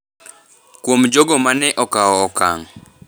Kuom jogo ma ne okawo okang’,